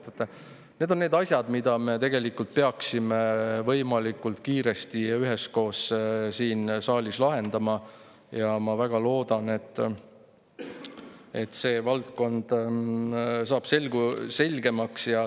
Vaat need on need asjad, mis me tegelikult peaksime võimalikult kiiresti ja üheskoos siin saalis lahendama, ja ma väga loodan, et see valdkond saab selgemaks.